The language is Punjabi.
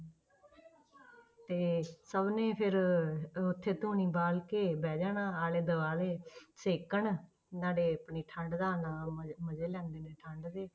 ਤੇ ਸਭ ਨੇ ਫਿਰ ਅਹ ਉੱਥੇ ਧੂਣੀ ਬਾਲ ਕੇ ਬਹਿ ਜਾਣਾ ਆਲੇ ਦੁਆਲੇ ਛੇਕਣ, ਨਾਲੇ ਆਪਣੀ ਠੰਢ ਦਾ ਨਾਲ ਮਜ਼ੇ ਮਜ਼ੇ ਲੈਂਦੇ ਨੇ ਠੰਢ ਦੇ।